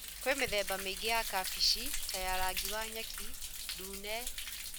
Kwĩ mĩthemba mĩingĩ ya kabeci ta ya rangi wa nyeki, ndune.